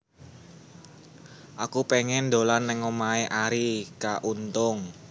Aku pengen dolan nang omahe Arie K Untung